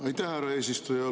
Aitäh, härra eesistuja!